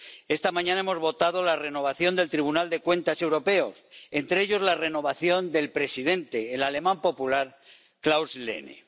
Esta mañana hemos votado la renovación del Tribunal de Cuentas Europeo y la renovación de su presidente, el alemán popular Klaus Lehne.